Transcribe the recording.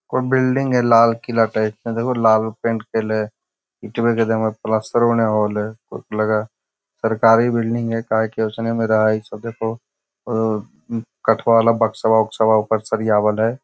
कोई बिल्डिंग है लाल किला टाइप का देखो लाल पेंट कइले ईटवे के देवल प्लास्टरों न होईल है सरकारी बिल्डिंग है काहे के ओसने में रहइ सब देखो काँठवा वाला बक्सवा-उकसवा ऊपर सरियावल है ।